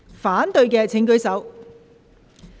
反對的請舉手。